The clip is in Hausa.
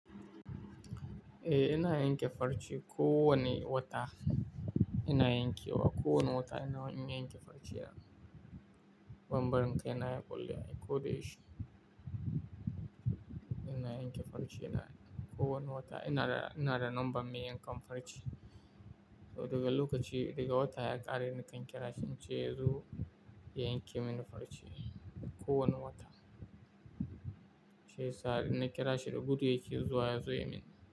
Eh ina yanke farce kowane wata ina yanke wa, kowane wata ina yin yanke farce. Banbanin kai na ya ƙulle ko da yaushe. Ina yanke farce kowane wata ina da, ina da number mai yankan farce. To daga lokaci daga wata ya ƙare nakan kira shi in ce yazo ya yanke mini farce kowane wata. Shi yasa idan na kira shi da gudu yake zuwa ya zo ya min.